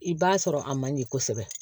I b'a sɔrɔ a man ɲɛ kosɛbɛ